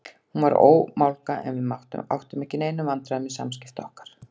Hún var ómálga en við áttum ekki í neinum vandræðum með samskipti okkar.